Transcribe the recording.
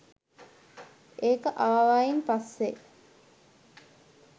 ඒක ආවායින් පස්සෙ